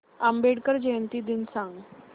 आंबेडकर जयंती दिन सांग